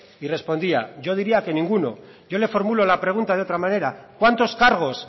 y respondía yo diría que ninguno yo le formulo la pregunta de otra manera cuántos cargos